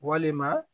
Walima